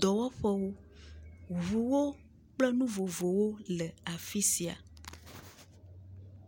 dɔwɔƒewo, ŋuwo kple nu vovovowo le afi sia.